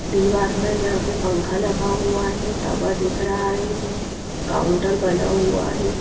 दीवार पर यहां पे पंखा लगा हुआ है तवा दिख रहा है काउंटर बना हुआ हैं।